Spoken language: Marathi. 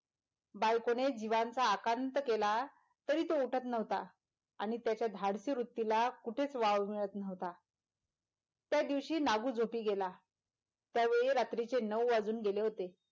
बायकोने जीवाचा आकांत केला तरी तो उठत नव्हता आणि त्याच्या धाडशी वृतीला कुठेच वाव मिळत नव्हता त्या दिवशी नागू झोपी गेला त्यावेळी रात्रीचे नऊ वाजून गेले होते,